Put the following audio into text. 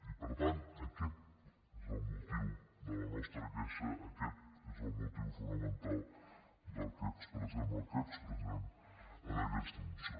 i per tant aquest és el motiu de la nostra queixa aquest és el motiu fonamental que expressem el que expressem en aquesta moció